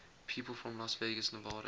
people from las vegas nevada